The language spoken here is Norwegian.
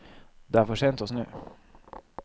Det er for sent å snu.